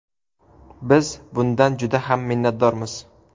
Biz bundan juda ham minnatdormiz.